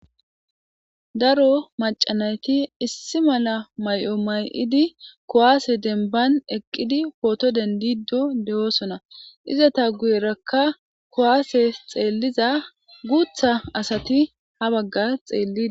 Daro macca na7ithi issi mala may7o may7idi kuwaase dembban eqqidi phootho denddiiddo de7oosona; izatha guyeerakka kuwaasee xeellida guuththa asathi ha baggaa xeelliiddi.